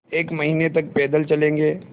एक महीने तक पैदल चलेंगे